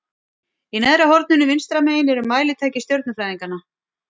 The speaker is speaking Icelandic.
Í neðra horninu vinstra megin eru mælitæki stjörnufræðinganna.